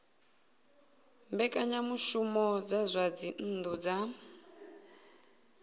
mbekanyamushumo dza zwa dzinnu dza